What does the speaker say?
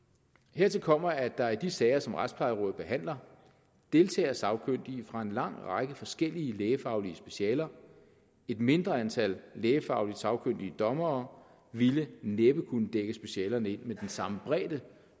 hertil kommer at der i de sager som retsplejerådet behandler deltager sagkyndige fra en lang række forskellige lægefaglige specialer et mindre antal lægefagligt sagkyndige dommere ville næppe kunne dække specialerne ind med den samme bredde